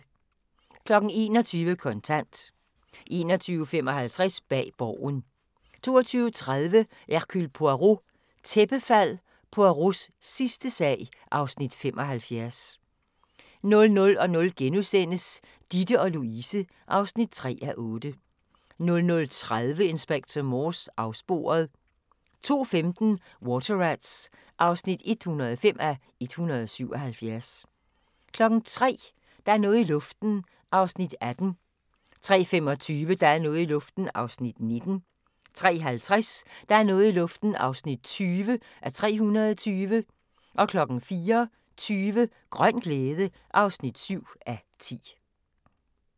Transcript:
21:00: Kontant 21:55: Bag Borgen 22:30: Hercule Poirot: Tæppefald – Poirots sidste sag (Afs. 75) 00:00: Ditte & Louise (3:8)* 00:30: Inspector Morse: Afsporet 02:15: Water Rats (105:177) 03:00: Der er noget i luften (18:320) 03:25: Der er noget i luften (19:320) 03:50: Der er noget i luften (20:320) 04:20: Grøn glæde (7:10)